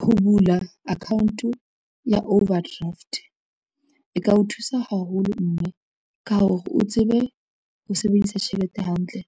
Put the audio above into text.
Ho bula account ya overdraft, e ka o thusa haholo mme ka hore o tsebe ho sebedisa tjhelete hantle